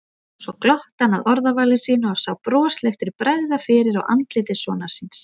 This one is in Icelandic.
Svo glotti hann að orðavali sínu og sá brosleiftri bregða fyrir á andliti sonar síns.